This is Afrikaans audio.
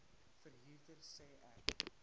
verhuurder sê ek